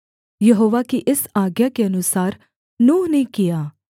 यहोवा की इस आज्ञा के अनुसार नूह ने किया